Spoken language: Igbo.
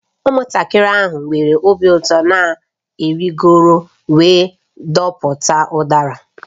Ụmụntakịrị ahụ nwere obi ụtọ na-arịgoro wee dọpụta udara